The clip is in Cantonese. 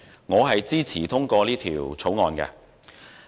我支持通過《條例草案》。